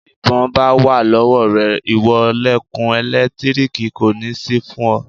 Tí ìbọn bá wà lọ́wọ́ rẹ ìwọ lẹ̀kùn ẹ̀lẹ́tíríìkì kò ní sí fún ọ.